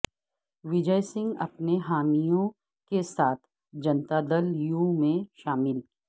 وجئے سنگھ اپنے حامیوں کے ساتھ جنتادل یو میںشامل